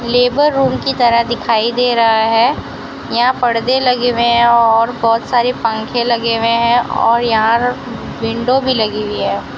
Labour room की तरह दिखाई दे रहा है यहां परदे लगे हुए है और बहोत सारे पंखे लगे हुए है और यहां विंडो भी लगी हुई है।